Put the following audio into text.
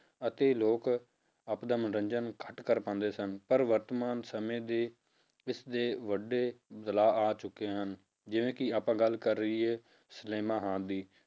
ਅਤੇ ਲੋਕ ਆਪਦਾ ਮਨੋਰੰਜਨ ਘੱਟ ਕਰ ਪਾਉਂਦੇ ਸਨ, ਪਰ ਵਰਤਮਾਨ ਸਮੇਂ ਦੇ ਇਸਦੇ ਵੱਡੇ ਬਦਲਾਵ ਆ ਚੁੱਕੇ ਹਨ, ਜਿਵੇਂ ਕਿ ਆਪਾਂ ਗੱਲ ਕਰ ਲਈਏ ਸਿਨੇਮਾ ਹਾਲ ਦੀ